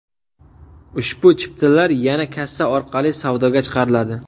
Ushbu chiptalar yana kassa orqali savdoga chiqariladi.